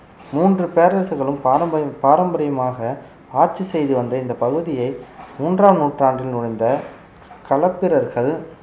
மூன்று பேரரசுகளும் பாரம்பரி~ பாரம்பரியமாக ஆட்சி செய்து வந்த இந்த பகுதியை மூன்றாம் நூற்றாண்டில் நுழைந்த களப்பிரர்கள்